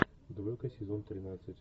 двойка сезон тринадцать